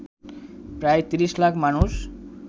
প্রায় ৩০ লাখ মানুষ